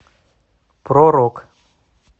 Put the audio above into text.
про рок